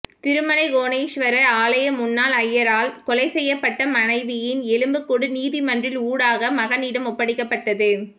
திருமலை கோணேஸ்வர ஆலய முன்னாள் ஐயரால் கொலை செய்யப்பட்ட மனைவியின் எலும்புக் கூடு நீதிமன்றின் ஊடாக மகனிடம் ஒப்படைக்கப்பட்டது